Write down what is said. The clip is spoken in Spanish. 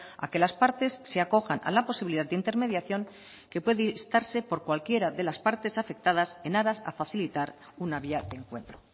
a que las partes se acojan a la posibilidad de intermediación que puede instarse por cualquiera de las partes afectadas en aras a facilitar una vía de encuentro